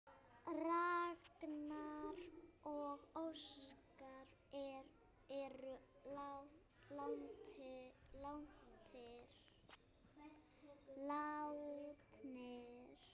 Ragnar og Óskar eru látnir.